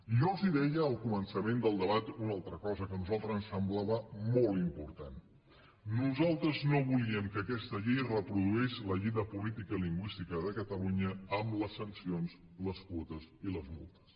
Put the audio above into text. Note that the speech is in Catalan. i jo els deia al començament del debat una altra cosa que a nosaltres ens semblava molt important nosaltres no volíem que aquesta llei reproduís la llei de política lingüística de catalunya amb les sancions les quotes i les multes